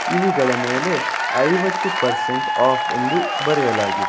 ಇವುಗಳ ಮೇಲೆ ಐವತ್ತು ಪರ್ಸೆಂಟ್ ಆಫ್ ಎಂದು ಬರೆಯಲಾಗಿದೆ.